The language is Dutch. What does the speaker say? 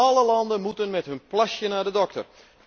Alle landen moeten met hun plasje naar de dokter.